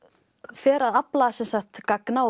fer að afla gagna og